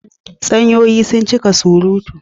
Tsanyoyi sun cika surutu.